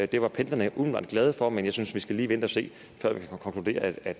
det var pendlerne umiddelbart glade for men jeg synes vi lige skal vente og se før vi kan konkludere at